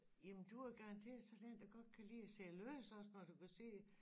Jamen du har garanteret sådan en der godt kan lide at sidde og læse også når du kan sidde